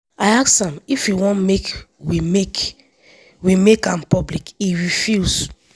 i ask am if e wan make we make we make am public e refuse.